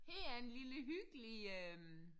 Her er en lille hyggelig øh